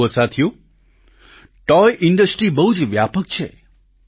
જુઓ સાથીઓ toy industry બહુ જ વ્યાપક છે